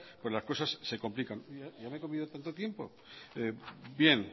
las cosas se complican bien